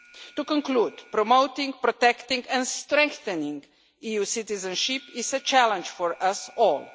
To conclude, promoting, protecting and strengthening EU citizenship is a challenge for us all.